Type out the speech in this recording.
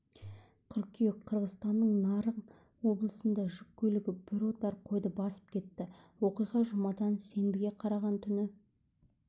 қыркүйек қырғызстанның нарын облысында жүк көлігі бір отар қойды басып кетті оқиға жұмадан сенбіге қараған түні